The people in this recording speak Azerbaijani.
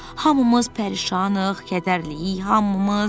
Hamımız pərişanıq, kədərliyik, hamımız.